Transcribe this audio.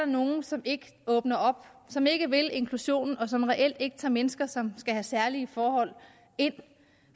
nogle som ikke åbner op som ikke vil inklusionen og som reelt ikke tager mennesker som skal have særlige forhold ind